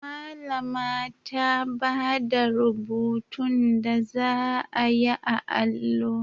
Malama ta bada rubutun da zaa yi a allo